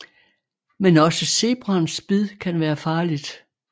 Men også zebraens bid kan være farligt